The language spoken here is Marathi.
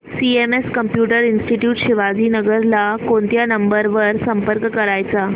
सीएमएस कम्प्युटर इंस्टीट्यूट शिवाजीनगर ला कोणत्या नंबर वर संपर्क करायचा